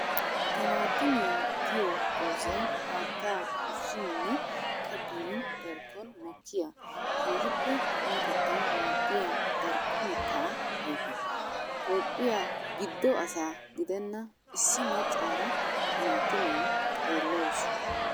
Timaattimiya giyo doozay haatta ushshininne kabboyin darkkon mokkiya keehippe qumatettawu maadiya darkko mitta ayfe. Toophphiya gido asaa gidenna issi maccaara timattiya xeelawussu.